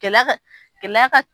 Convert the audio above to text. Gɛlɛya Ka Gɛlɛya Ka.